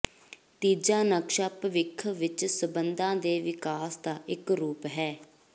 ਤੀਜਾ ਨਕਸ਼ਾ ਭਵਿੱਖ ਵਿਚ ਸੰਬੰਧਾਂ ਦੇ ਵਿਕਾਸ ਦਾ ਇਕ ਰੂਪ ਹੈ